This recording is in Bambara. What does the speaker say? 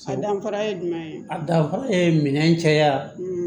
A danfara ye jumɛn ye a danfara ye minɛ caya